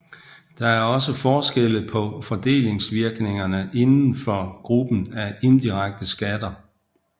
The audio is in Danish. Der er også forskelle på fordelingsvirkningerne inden for gruppen af indirekte skatter